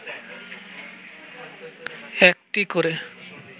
১টি করে